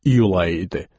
İyul ayı idi.